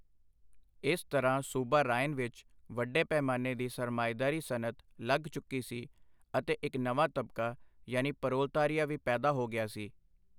ਇਸ ਤਰ੍ਹਾਂ ਸੂਬਾ ਰਾਏਨ ਵਿੱਚ ਵੱਡੇ ਪੈਮਾਨੇ ਦੀ ਸਰਮਾਏਦਾਰੀ ਸਨਅਤ ਲੱਗ ਚੁੱਕੀ ਸੀ ਅਤੇ ਇੱਕ ਨਵਾਂ ਤਬਕਾ ਯਾਨੀ ਪਰੋਲਤਾਰੀਆ ਵੀ ਪੈਦਾ ਹੋ ਗਿਆ ਸੀ।